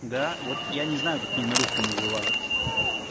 да вот я не знаю как они на русском называются